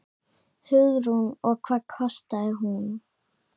Hugrún: Og hvað kostaði hún?